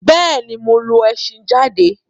Bẹ́ẹ̀̀ ni, mo lo ẹṣhin jáde.